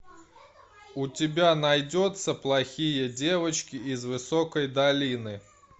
у тебя найдется плохие девочки из высокой долины